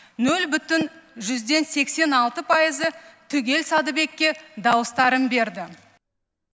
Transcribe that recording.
нөл бүтін жүзден сексен алты пайызы түгел сәдібекке дауыстарын берді